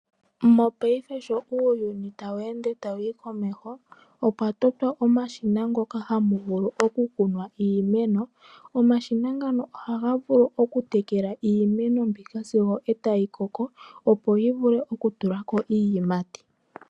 Mopayife sho uuyuni tawu ende tawu yi komeho opwatotwa omashina ngoka hamuvulu oku kunwa iimeno, omashina ngano oha ga vulu oku tekela iimeno mbika sigo etayikoko opo yivule oku tulako iiyimati.